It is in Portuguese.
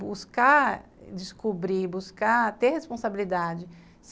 Buscar, descobrir, buscar, ter responsabilidade.